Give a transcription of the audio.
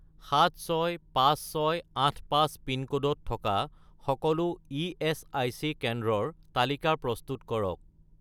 765685 পিনক'ডত থকা সকলো ইএচআইচি কেন্দ্ৰৰ তালিকা প্ৰস্তুত কৰক